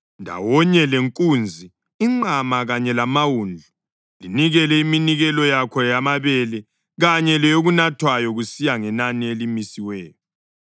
Ndawonye lenkunzi, inqama kanye lamawundlu, linikele iminikelo yakho yamabele kanye leyokunathwayo kusiya ngenani elimisiweyo.